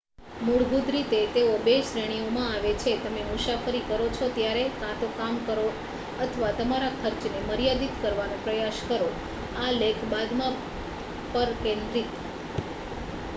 મૂળભૂત રીતે તેઓ બે શ્રેણીઓમાં આવે છેઃ તમે મુસાફરી કરો છો ત્યારે કાં તો કામ કરો અથવા તમારા ખર્ચને મર્યાદિત કરવાનો પ્રયાસ કરો.આ લેખ બાદમાં પર કેન્દ્રિત